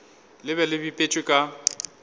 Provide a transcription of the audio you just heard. le be le bipetšwe ka